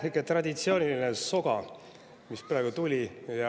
Ikka see traditsiooniline soga ka praegu teilt tuli.